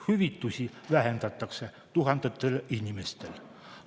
Hüvitisi vähendatakse tuhandetel inimestel.